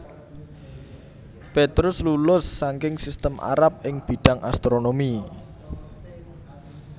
Petrus lulus saking sistem Arab ing bidhang astronomi